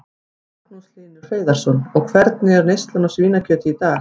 Magnús Hlynur Hreiðarsson: Og hvernig er neyslan á svínakjöti í dag?